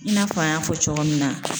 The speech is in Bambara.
I n'a fɔ an y'a fɔ cogo min na.